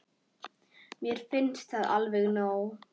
Mér finnst það alveg nóg.